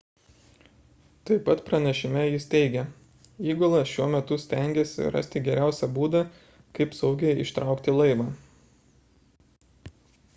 taip pat pranešime jie teigia įgula šiuo metu stengiasi rasti geriausią būdą kaip saugiai ištraukti laivą